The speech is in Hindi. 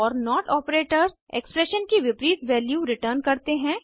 और नोट ऑपरेटर्स एक्सप्रेशन की विपरीत वैल्यू रेतुरें करते है